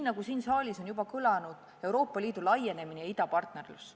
Siin saalis on juba kõlanud sõnad "Euroopa Liidu laienemine" ja "idapartnerlus".